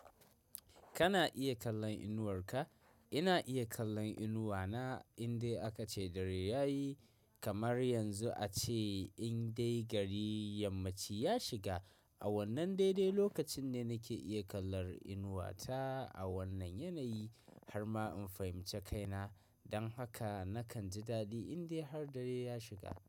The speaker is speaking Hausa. Kana iya kallon inuwar ka? Ina iya kallon inuwa na, indai aka ce dare ya yi. Kamar yanzu a ce in dai gari yammaci ya shiga. A wannan dai-dai lokacin ne nake iya kallar inuwa ta, a wannan yanayi. Har ma in fahimci kaina. Don haka, nakan ji daɗi indai har dare ya shiga.